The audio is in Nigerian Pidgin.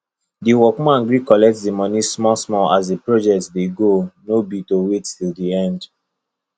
the workman gree collect the money smallsmall as the project dey go no be to wait till the end